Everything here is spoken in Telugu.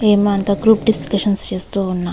ఏమో అంత గ్రూప్ డిస్కషన్స్ చేస్తూ ఉన్న --